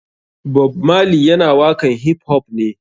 Bob marley yana waƙan hip hop ne.